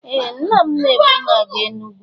Ee! Nna m na-ebu m aga Enugwu.